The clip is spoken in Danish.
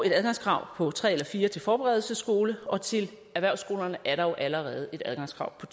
et adgangskrav på tre eller fire til forberedelsesskolen og til erhvervsskolerne er der jo allerede et adgangskrav på